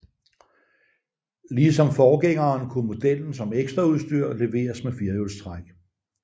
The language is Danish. Ligesom forgængeren kunne modellen som ekstraudstyr leveres med firehjulstræk